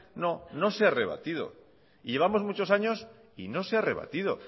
no no se ha rebatido y llevamos muchos años y no se ha rebatido